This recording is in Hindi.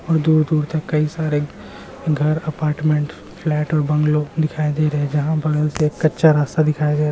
और दूर-दूर तक कई सारे घर अपार्टमेंट फ़्लैट और बंगली दिखाई दे रहे हैं जहां बगल से कच्चा रास्ता दिखाई दे रहा --